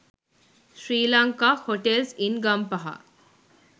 sri lanka hotels in gampaha